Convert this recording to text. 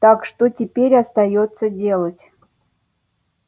так что теперь остаётся делать